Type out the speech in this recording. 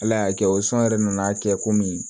Ala y'a kɛ o sɔn yɛrɛ nana kɛ komi